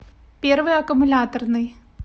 первый аккумуляторный